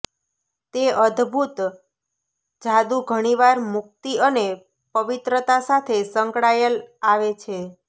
તે અદભૂત જાદુ ઘણીવાર મુક્તિ અને પવિત્રતા સાથે સંકળાયેલ આવે છે